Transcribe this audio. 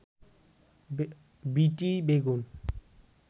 বিটি বেগুন